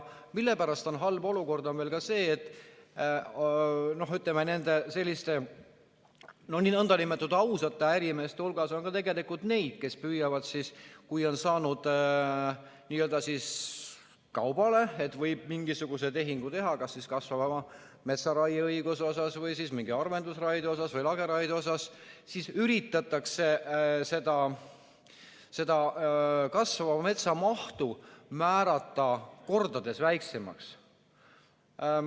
Ja halb olukord ka sellepärast, et nende nn ausate ärimeeste hulgas on ka tegelikult neid, kes püüavad siis, kui on saanud n-ö kaubale, et võib mingisuguse tehingu teha, kas kasvava metsa raieõiguse osas või mingi harvendusraie osas või lageraie osas, siis üritatakse seda kasvava metsa mahtu määrata mitu korda väiksemaks.